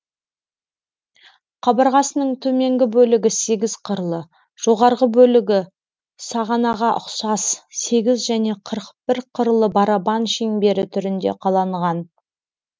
қабырғасының төменгі бөлігі сегіз қырлы жоғарғы бөлігі сағанаға ұқсас сегіз және қырық бір қырлы барабан шеңбері түрінде қаланған